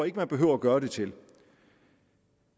ikke man behøver at gøre det til